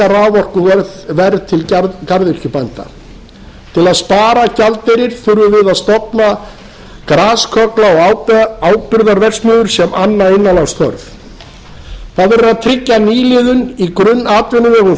raforkuverð til garðyrkjubænda til að spara gjaldeyri þurfum við að stofna grasköggla og áburðarverksmiðjur sem anna innanlandsþörf það verður að tryggja nýliðun i grunnatvinnuvegum